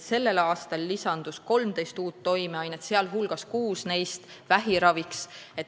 Sellel aastal lisandus 13 uut toimeainet, sh kuus vähiravi jaoks.